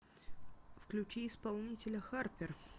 включи исполнителя харпер